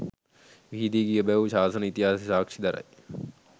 විහිදී ගිය බැව් ශාසන ඉතිහාසය සාක්ෂි දරයි.